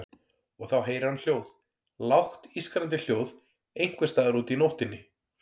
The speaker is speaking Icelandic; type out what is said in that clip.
Og þá heyrir hann hljóð, lágt ískrandi hljóð einhvers staðar úti í nóttinni.